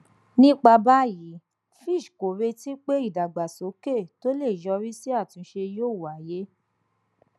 nípa báyìí fitch kò retí pé ìdàgbàsókè tó lè yọrí sí àtúnṣe yóò wáyé